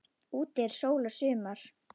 Úti er sól og sumar.